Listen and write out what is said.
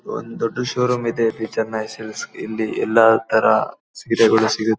ಒಂದು ದೊಡ್ಡ್ ಶೋರೂಮ್ ಇದೆ ಚೆನೈ ಸಿಲ್ಕ್ಸ್ ಇಲ್ಲಿ ಎಲ್ಲತರ ಸೀರೆಗಳು ಸಿಗುತ್ತೆ.